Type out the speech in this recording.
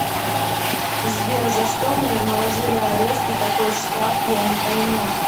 сбер за что мне наложили арест и какой шраф я не пойму